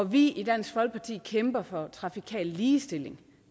vi i dansk folkeparti kæmper for trafikal ligestilling